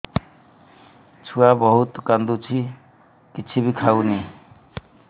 ଛୁଆ ବହୁତ୍ କାନ୍ଦୁଚି କିଛିବି ଖାଉନି